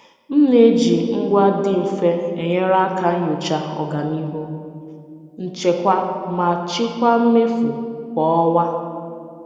M na-eji ngwa dị mfe enyere aka nyochaa ọganihu nchekwa ma chịkwaa mmefu kwa ọnwa.